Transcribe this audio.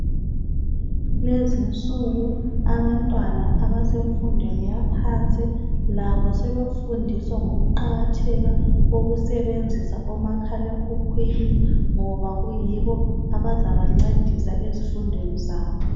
Kulezinsuku abantwana abasemfundweni yaphansi labo sebefundiswa ngokuqakatheka kokusebenzisa omakhalekhukhwini ngoba kuyibo abazabancedisa ezifundweni zabo